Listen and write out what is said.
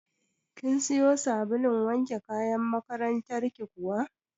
Kin siyo sabulun wanke kayan makarantar ki kuwa?